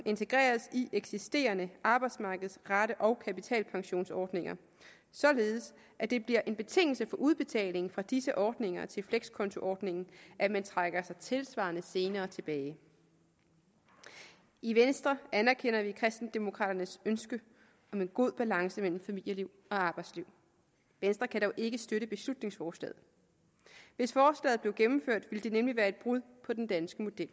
integreres i eksisterende arbejdsmarkedsrate og kapitalpensionsordninger således at det bliver en betingelse for udbetaling fra disse ordninger til flekskontoordningen at man trækker sig tilsvarende senere tilbage i venstre anerkender vi kristendemokraternes ønske om en god balance mellem familieliv og arbejdsliv venstre kan dog ikke støtte beslutningsforslaget hvis forslaget blev gennemført ville det nemlig være et brud med den danske model